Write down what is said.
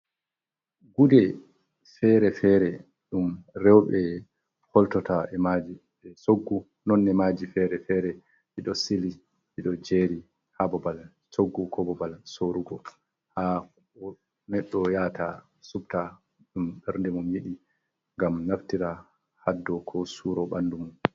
Gude fere-fere ɗum reɓe holtota emaji be soggu, nonne maji fere fere ɗi ɗo jeri ha babal soggu ko bobal sorugo ha medo yata subta ɗum bernde mum yidi ngam naftira haddo ko suro bandu mum.